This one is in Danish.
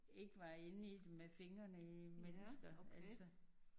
Ikke var inde i det med fingere i mennesker altså